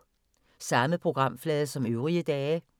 Samme programflade som øvrige dage